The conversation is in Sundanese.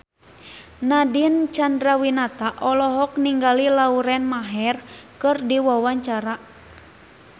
Nadine Chandrawinata olohok ningali Lauren Maher keur diwawancara